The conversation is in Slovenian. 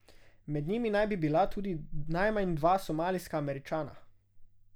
Med njimi naj bi bila tudi najmanj dva somalijska Američana.